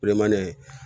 Bilemani ye